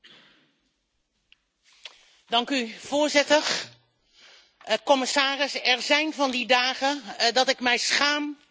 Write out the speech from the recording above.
Voorzitter, commissarissen, er zijn van die dagen dat ik mij schaam om lid te zijn van het Europees Parlement.